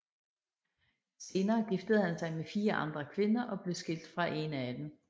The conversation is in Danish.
Senere giftede han sig med fire andre kvinder og blev skilt fra en af dem